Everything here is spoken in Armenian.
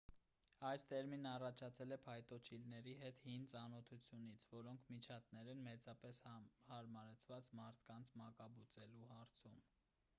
այս տերմինն առաջացել է փայտոջիլների հետ հին ծանոթությունից որոնք միջատներ են մեծապես հարմարեցված մարդկանց մակաբուծելու հարցում